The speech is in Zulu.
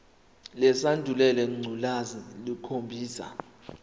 lesandulela ngculazi lukhombisa